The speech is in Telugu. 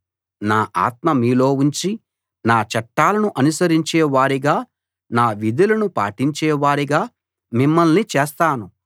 నా ఆత్మ మీలో ఉంచి నా చట్టాలను అనుసరించే వారిగా నా విధులను పాటించే వారిగా మిమ్మల్ని చేస్తాను